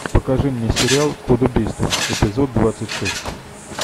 покажи мне сериал код убийства эпизод двадцать шесть